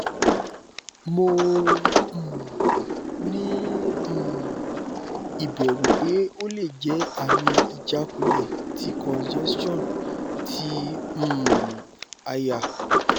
mo um ni um iberu pe ole je ami ijakunle ti congestion ti um aya